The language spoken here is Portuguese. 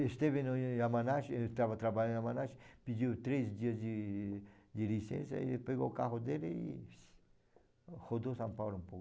Esteve no Yamanashi, eu estava trabalhando no Yamanashi, pediu três dias de de licença, e ele pegou o carro dele e rodou São Paulo um pouco.